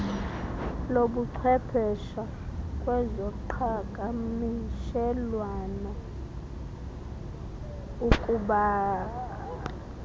lobuchwepeshe kwezoqhakamshelwano ukubasi